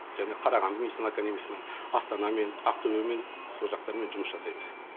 жаңағы қарағанды медицина академисымен астанамен ақтөбемен сол жақтармен жұмыс жасаймыз